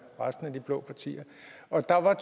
resten af de blå partier og der var